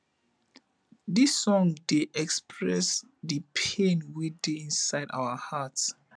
dis song dey express di pain wey dey inside our heart